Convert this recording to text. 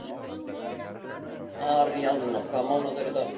Aríaðna, hvaða mánaðardagur er í dag?